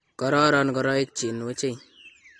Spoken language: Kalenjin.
kororon ngoroik chin wechei